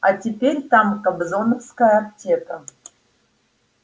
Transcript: а теперь там кобзоновская аптека